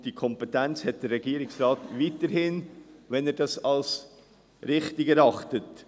Die Kompetenz hat der Regierungsrat weiterhin, wenn er dies als richtig erachtet.